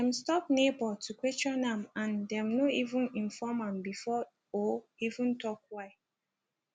dem stop neighbor to question am and dem no evem inform am before or even tok why